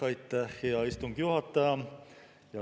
Aitäh, hea istungi juhataja!